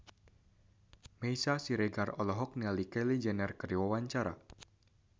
Meisya Siregar olohok ningali Kylie Jenner keur diwawancara